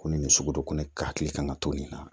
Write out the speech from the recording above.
Ko nin sugu ko ne hakili kan ka to nin na